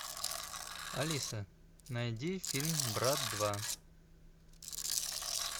алиса найди фильм брат два